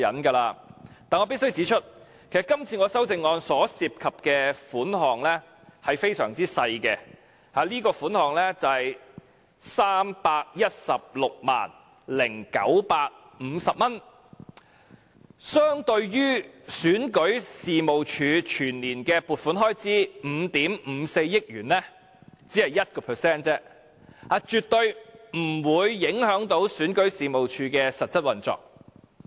但是，我必須指出，這項修正案涉及的款項非常少，只是 3,160,950 元，相對於選舉事務處全年的撥款開支5億 5,400 萬元，只是 1% 而已，絕對不會影響選舉事務處的實質運作。